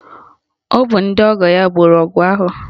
Ọ bụ ndị ọgọ ya gboro ọgụ ahụ